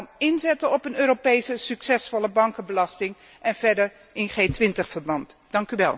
Daarom inzetten op een Europese succesvolle bankenbelasting en verder in G 20 verband opereren.